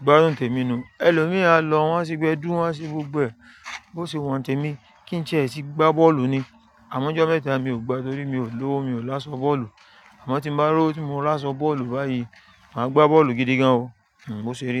Ìgbádùn tèmi nu. Ẹlòmíràn a lọ wọ́n ṣí gbẹdu, wọ́n ṣí gbogbo ẹ. Bó ṣe wọ́n tèmi, kí n ṣe ti e ti gbá bọ́ọ̀lù ni. Àmọ́ ọjọ́ mẹ́ta mi ò gbá torí mi ò lówó, mi ò láṣọ bọ́ọ̀lù. Àmọ́ tí mo bá rọ́wo, tí mo bá láṣọ bọ́lù báyìí, màá gbá bọ́ọ̀lù gidi gan o. Bó ṣe rí nu.